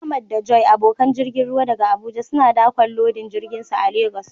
Ahmad da Joy, abokan jirgin ruwa daga Abuja, suna dakon lodin jirginsu a Legas.